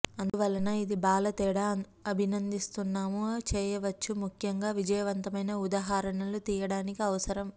అందువలన ఇది బాల తేడా అభినందిస్తున్నాము చేయవచ్చు ముఖ్యంగా విజయవంతమైన ఉదాహరణలు తీయటానికి అవసరం